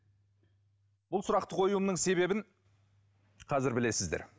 бұл сұрақты қоюымның себебін қазір білесіздер